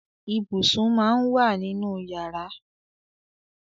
Ibùsùn máa ń wà nínú yàrá.